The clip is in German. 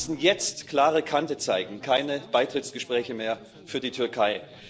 Wir müssen jetzt klare Kante zeigen keine Beitrittsgespräche mehr für die Türkei.